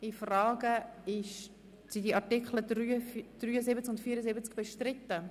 Ich beginne noch mit dem Block der Artikel 75 bis 78.